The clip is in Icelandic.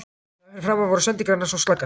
Þar fyrir framan voru sendingarnar svo slakar.